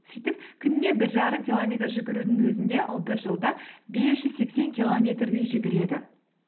сөйтіп күніне бір жарым километр жүгірудің өзінде ол бір жылда бес жүз сексен километрдей жүгіреді